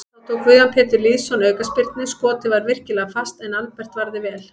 Þá tók Guðjón Pétur Lýðsson aukaspyrnu, skotið var virkilega fast en Albert varði vel.